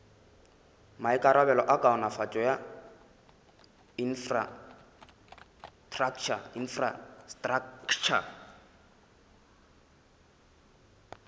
maikarabelo a kaonafatšo ya infrastraktšha